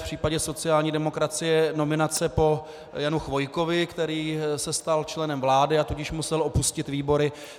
V případě sociální demokracie nominace po Janu Chvojkovi, který se stal členem vlády, a tudíž musel opustit výbory.